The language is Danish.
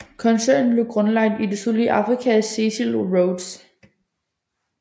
Koncernen blev grundlagt i det sydlige Afrika af Cecil Rhodes